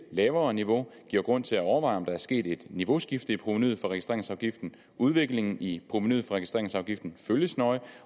lavere niveau giver grund til at overveje om der er sket et niveauskifte i provenuet fra registreringsafgiften udviklingen i provenuet fra registreringsafgiften følges nøje